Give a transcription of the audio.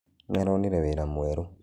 Nĩaronĩre wĩra mwerũ.